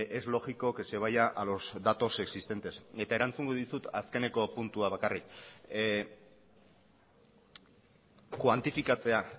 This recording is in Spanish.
es lógico que se vaya a los datos existentes eta erantzungo dizut azkeneko puntua bakarrik kuantifikatzea